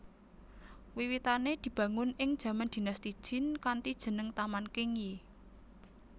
Wiwitane dibangun ing jaman Dinasti Jin kanthi jeneng Taman Qingyi